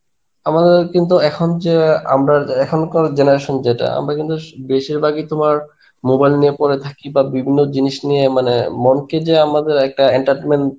আমাদের কিন্তু এখন যা আমরা এখনকার generation যেটা আমরা কিন্তু বেশিরভাগই তোমার mobile নিয়ে পরে থাকি বা বিভিন্ন জিনিস নিয়ে মানে মনকে যে আমাদের একটা entertenment